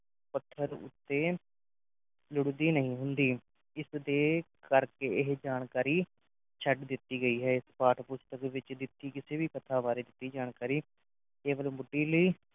ਪੱਥਰ ਉੱਤੇ ਲੁੜਦੀ ਨਹੀਂ ਹੁੰਦੀ ਇਸ ਦੇ ਕਰਕੇ ਇਹ ਜਾਣਕਾਰੀ ਛੱਡ ਦਿੱਤੀ ਗਈ ਹੈ ਇਸ ਪਾਠ-ਪੁਸਤਕ ਵਿਚ ਦਿੱਤੀ ਕਿਸੇ ਵੀ ਕਥਾ ਬਾਰੇ ਦਿੱਤੀ ਜਾਣਕਾਰੀ ਕੇਵਲ